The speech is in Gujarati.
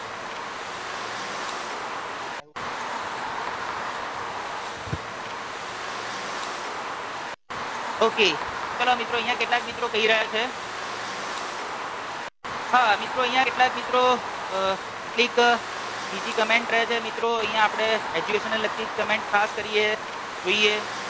okay ચાલો મિત્રો અહિયાં કેટલાક મિત્રો કહી રહ્યા છે હા મિત્રો અહિયાં કેટલાક મિત્રો અ કેટલીક બીજી કમેંટ કરે છે મિત્રો અહિયાં આપણે education ને લગતી જ કમેંટ ખાસ કરીએ જોઈએ